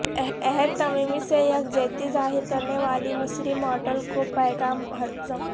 عہد تمیمی سے یکجہتی ظاہر کرنے والی مصری ماڈل کا پیغام حذف